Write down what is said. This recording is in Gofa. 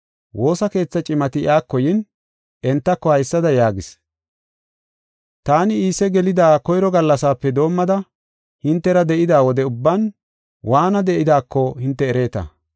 Woosa keetha cimati iyako yin, entako haysada yaagis: “Taani Iise gelida koyro gallasape doomida hintera de7ida wode ubban waana de7idaako hinte ereeta.